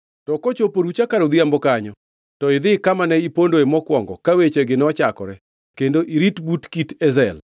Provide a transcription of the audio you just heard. To kochopo orucha kar odhiambo kanyo to idhi kama ne ipondoe mokwongo ka wechegi nochakore kendo irit but kit Ezel.